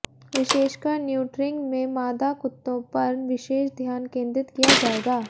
विशेषकर न्यूट्रिंग में मादा कुत्तों पर विशेष ध्यान केंद्रित किया जाएगा